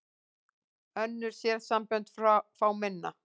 Önnur sérsambönd fá minna